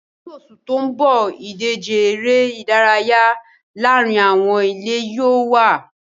Ní oṣù tó ń bọ̀, ìdíje eré ìdárayá láàárín àwọn ilé yóò wà